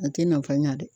A tɛ nafa ɲa dɛ